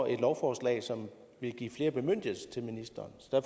et lovforslag som vil give flere bemyndigelser til ministeren så